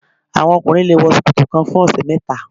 Àwọn ọkùnrin le wọ ṣòkòtò kan fún ọ̀sẹ̀ mẹ́ta.